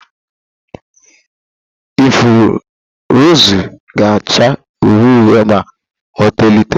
Ifuru rọzụ ga acha uhie uhie ma ọ tolite.